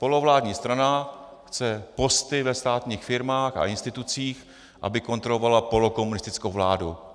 Polovládní strana chce posty ve státních firmách a institucích, aby kontrolovala polokomunistickou vládu.